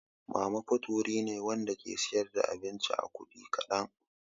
Mama fut wuri ne Wanda ke siyar da abinci a kudi kadan.